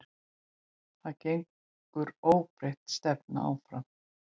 En gengur óbreytt stefna áfram?